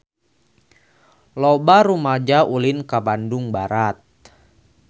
Loba rumaja ulin ka Bandung Barat